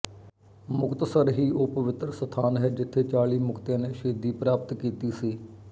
ਮੁਕਤਸਰ ਹੀ ਉਹ ਪਵਿੱਤਰ ਸਥਾਨ ਹੈ ਜਿੱਥੇ ਚਾਲੀ ਮੁਕਤਿਆ ਨੇ ਸ਼ਹੀਦੀ ਪ੍ਰਾਪਤ ਕੀਤੀ ਸੀ